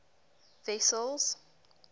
wessels